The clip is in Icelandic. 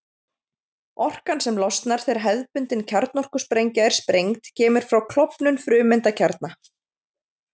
Orkan sem losnar þegar hefðbundin kjarnorkusprengja er sprengd kemur frá klofnun frumeindakjarna.